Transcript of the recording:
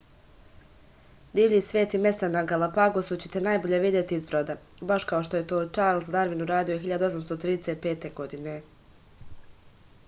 divlji svet i mesta na galapagosu ćete najbolje videti iz broda baš kao što je to čarls darvin uradio 1835. godine